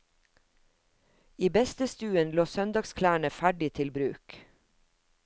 I bestestuen lå søndagsklærne ferdig til bruk.